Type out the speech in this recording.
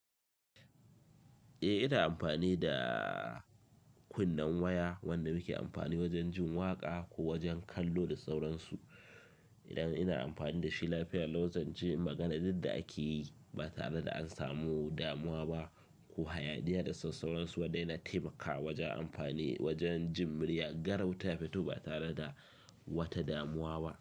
Eh, ina amfani daaa kunnen waya wanda muke amfani wajen jin waƙa ko wajen kallo da sauransu. Idan ina amfani da shi lafiya, lau zanji magana did da ake yi ba tare da an samu damuwa ba ko hayaniya da sauransu, wanda yana taimakawa wajen amfani wajen jin muryar garau ta fito ba tare da wata damuwa ba.